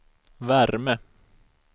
värme